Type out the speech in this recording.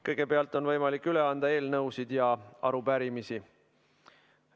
Kõigepealt on võimalik üle anda eelnõusid ja arupärimisi.